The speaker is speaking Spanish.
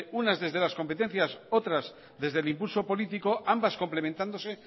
una desde las competencias otras desde el impulso político ambas complementándose